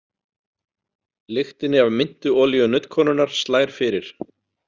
Lyktinni af myntuolíu nuddkonunnar slær fyrir.